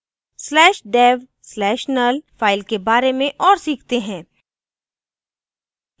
slash dev slash null /dev/null file के बारे में और सीखते हैं